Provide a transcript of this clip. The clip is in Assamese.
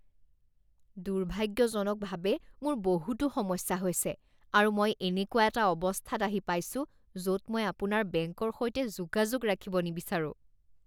দুৰ্ভাগ্যজনকভাৱে মোৰ বহুতো সমস্যা হৈছে আৰু মই এনেকুৱা এটা অৱস্থাত আহি পাইছো য'ত মই আপোনাৰ বেংকৰ সৈতে যোগাযোগ ৰাখিব নিবিচাৰোঁ